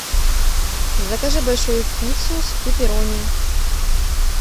закажи большую пиццу с пепперони